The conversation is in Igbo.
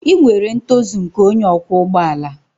Ị nwere ntozu nke onye ọkwọ ụgbọ ala